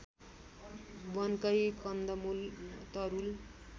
वनकै कन्दमुल तरूल